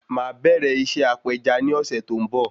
Máà bẹ̀rẹ̀ iṣẹ́ apeja ni ọ̀sẹ̀ tó ń bò